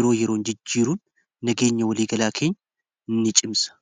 yeroo yeroo jijjiiruun nageenya walii galaa keenya ini cimsa